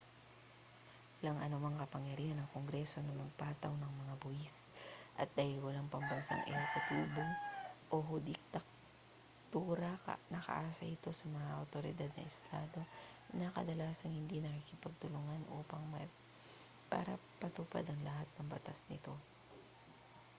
walang anumang kapangyarihan ang kongreso na magpataw ng mga buwis at dahil walang pambansang ehekutibo o hudikatura nakaasa ito sa mga awtoridad ng estado na kadalasang hindi nakikipagtulungan para ipatupad ang lahat ng batas nito